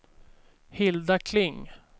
Hilda Kling